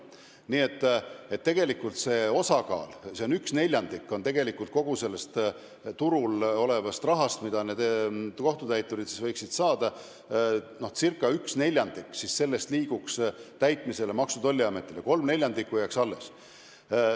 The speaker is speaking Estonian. Nii et tegelikult kogu turul olevast rahast, mida kohtutäiturid võiksid saada, ca neljandik liiguks Maksu- ja Tolliameti kätte, kolm neljandikku jääks alles.